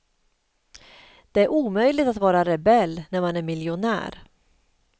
Det är omöjligt att vara rebell när man är miljonär.